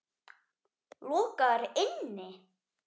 Lokaðir inni?